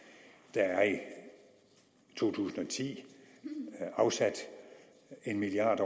der er i to tusind og ti afsat en milliard